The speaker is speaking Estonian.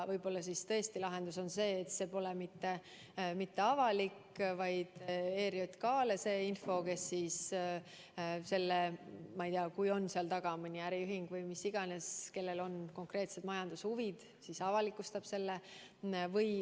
Võib-olla tõesti lahendus on see, et see pole mitte avalik info, vaid mõeldud ERJK-le, kes võib selle, kui on seal taga mõni äriühing või kes iganes, kellel on konkreetsed majandushuvid, avalikustada.